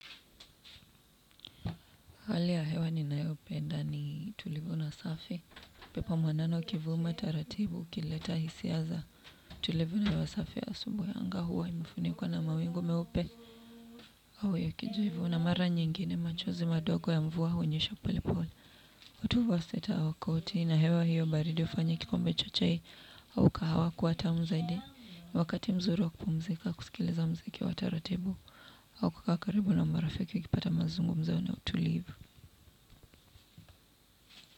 Hali ya hewa ninayopenda ni tulivu na safi upepo mwanana ukivuma taratibu ukileta hisia za tulivu na hewa safi ya asubui anga huwa imefunikwa na mawingu meupe hao ya kijivu na mara nyingine machozi madogo ya mvua hunyesha polepole. Utuvaa sweta au koti na hewa hiyo baridi ufanya kikombe cha chai au kahawa kuwa tamu zaidi. Wakati mzuri wa kupumzika kusikiliza mziki wa taratibu au kukaa karibu na marafiki ukipata mazungumzo na utulivu.